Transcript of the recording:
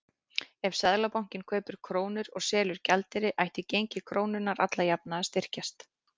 Ef Seðlabankinn kaupir krónur og selur gjaldeyri ætti gengi krónunnar alla jafna að styrkjast.